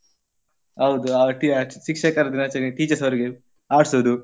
ಹೌದು ಆ ಟಿ~ ಶಿಕ್ಷಕರ ದಿನಾಚರಣೆಗೆ teachers ಅವರಿಗೆ ಆಡ್ಸುದು.